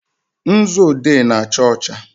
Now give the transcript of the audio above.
nzu odee na-acha ọcha.